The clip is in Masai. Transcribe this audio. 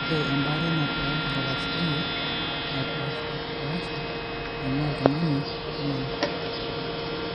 Ore embaare nataa etarasayie nepaashipaasha eing'ua oltung'ani oltung'ani.